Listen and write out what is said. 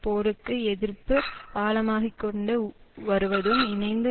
போருக்கு எதிர்ப்பு ஆழமாகிக்கொண்டு வருவதும் இணைந்து